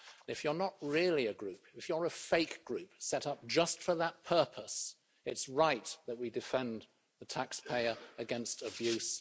If you're not really a political group if you are a fake group set up just for that purpose then it's right that we defend the taxpayer against abuse.